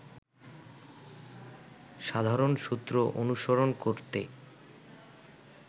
সাধারণ সূত্র অনুসরণ করতে